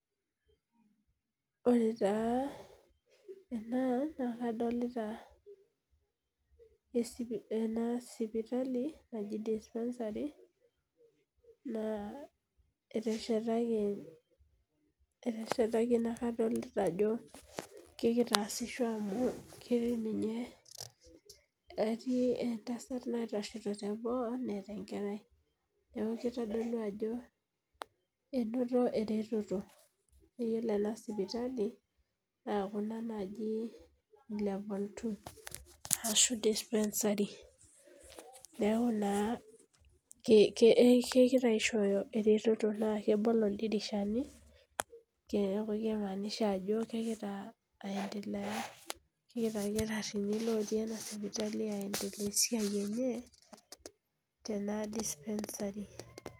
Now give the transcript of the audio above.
Ore taa ena na kadolita esipitali naji dispensary nateshetaki nakadolita ajobkeasisho amu ketii ninye entasat naitashito teboo tlneeta enkerai eoshito esimu ajo inoto eretoto ore kuna sipitalini na ena naji level two ashu dispensary neaku na kegira aishooyo eretoto na kimaanisha ajo kegira aendelea kegira loti enasipitali aas esiai enye tena dispensary